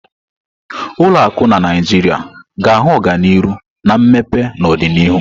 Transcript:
Ụlọ akụ na Naijiria ga-ahụ ọganihu na mmepe n'ọdịnihu.